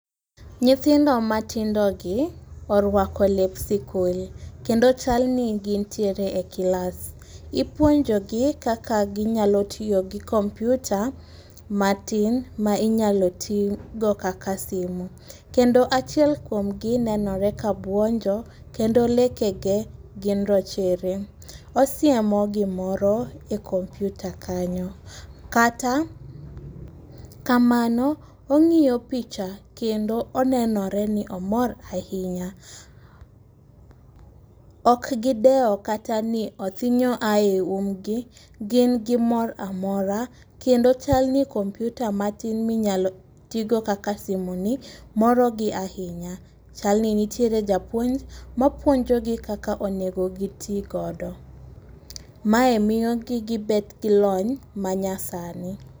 Nyithindo matindogi oruako lep sikul, kendo chal ni gin tiere e kilas. Ipuonjogi kaka ginyalo tiyo gi kompiuta matin ma inyalo tigo kaka simu. Kendo achiel kuomgi nenore kabuonjo kendo lekegi gin rochere. Osiemo gimoro e kompiuta kanyo kata kamano ong'iyo picha kendo onenore ni omor ahinya. Ok gidewo kata ni othinyo a e umgi, gin gi mor amora kendo chal ni kompiuta matin minyalo tigo kaka simu moro gi ahinya. Chalo ni nitiere japuonj ma puonjogi kaka onego giti godo. Mae miyogi gibet gilony manyasani.